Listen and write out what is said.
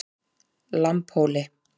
Lambhóli